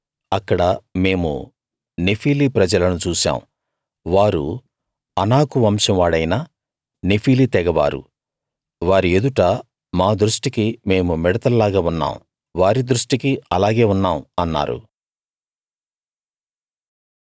అక్కడ మేము నెఫీలీ ప్రజలను చూశాం వారు అనాకు వంశం వాడైన నెఫీలీ తెగ వారు వారి ఎదుట మా దృష్టికి మేము మిడతల్లాగా ఉన్నాం వారి దృష్టికీ అలాగే ఉన్నాం అన్నారు